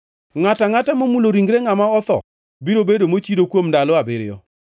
“Ngʼato angʼata momulo ringre ngʼama otho biro bedo mochido kuom ndalo abiriyo.